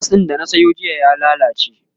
Karas din da na Sayo jiya ya lallace